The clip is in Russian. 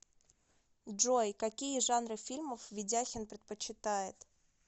джой какие жанры фильмов ведяхин предпочитает